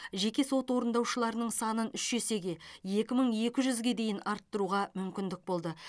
жеке сот орындаушыларының санын үш есеге екі мың екі жүзге дейін арттыруға мүмкін болды